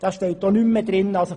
Davon ist nicht mehr die Rede.